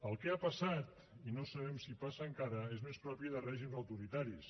el que ha passat i no sabem si passa encara és més propi de règims autoritaris